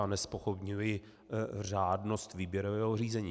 Já nezpochybňuji řádnost výběrového řízení.